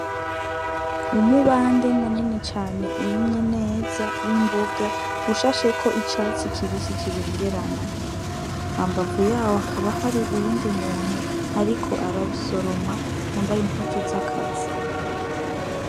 Umubande munini cane urimwe neza w' imboga ushasheko icatsi kibisi kibengerana hambavu yaho hakaba hari uyundi muntu ariko arabisoroma yambaye impuzu z'akazi.